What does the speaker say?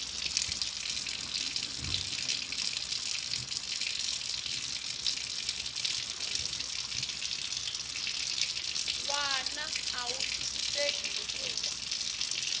wana a wu twisiseki hikuva